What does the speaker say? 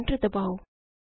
enter ਦਬਾਉ